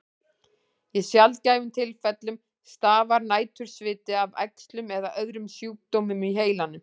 Í sjaldgæfum tilfellum stafar nætursviti af æxlum eða öðrum sjúkdómum í heilanum.